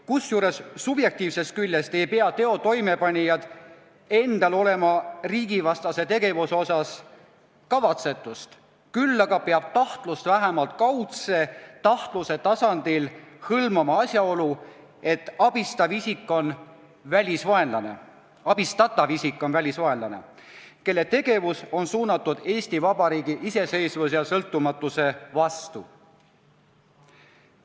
Kusjuures subjektiivsest küljest ei pea teo toimepanijal endal olema riigivastase tegevuse osas kavatsetust, küll aga peab tahtlus vähemalt kaudse tahtluse tasandil hõlmama asjaolu, et abistatav isik on välisvaenlane, kelle tegevus on suunatud Eesti Vabariigi iseseisvuse ja sõltumatuse vastu.